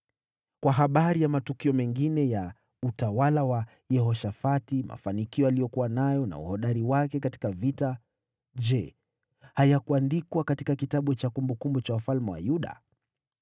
Kwa habari ya matukio mengine ya utawala wa Yehoshafati, mafanikio aliyokuwa nayo na uhodari wake katika vita, je, hayakuandikwa katika kitabu cha kumbukumbu za wafalme wa Yuda?